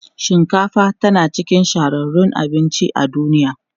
Shinkafa tana cikin shahararrun abinci a duniya.